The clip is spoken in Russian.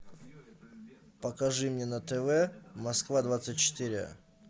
покажи мне на тв москва двадцать четыре